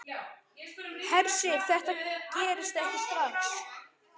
Hersir: Þetta gerist ekki strax?